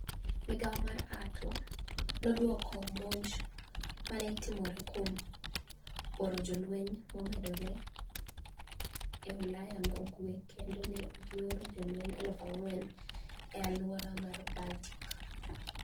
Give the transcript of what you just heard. Migao mar niATO nodwoko monij ma ni e otimoreno kuom oro jolweniy momedore e Ulaya ma ugwe kenido ni e gioro jolweniy 4,000 e alwora mar Baltic.